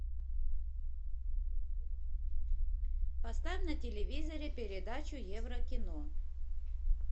поставь на телевизоре передачу еврокино